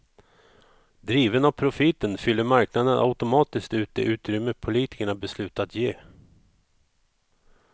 Driven av profiten fyller marknaden automatiskt ut det utrymme politikerna beslutat ge.